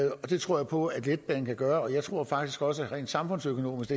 det tror jeg på at letbanen kan gøre og jeg tror faktisk også at rent samfundsøkonomisk